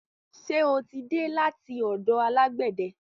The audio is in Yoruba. Ṣe o tí dé láti ọ̀dọ̀ alágbẹ̀de?